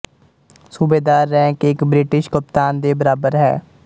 ਸੂਬੇਦਾਰ ਰੈਂਕ ਇੱਕ ਬ੍ਰਿਟਿਸ਼ ਕਪਤਾਨ ਦੇ ਬਰਾਬਰ ਹੈ